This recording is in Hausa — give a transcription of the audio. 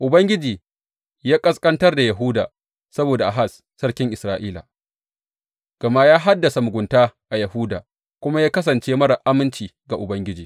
Ubangiji ya ƙasƙantar da Yahuda saboda Ahaz sarkin Isra’ila, gama ya hadasa mugunta a Yahuda kuma ya kasance marar aminci ga Ubangiji.